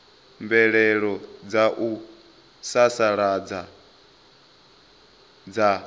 mvelelo dza u sasaladza dza